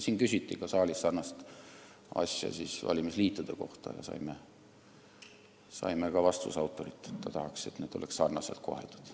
Siin saalis küsiti ka sarnast asja valimisliitude kohta ja saime vastuse autorilt, et ta tahaks, et neid koheldaks sarnaselt.